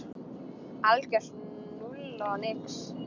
Algjört núll og nix.